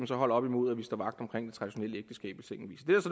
så holde op imod at vi står vagt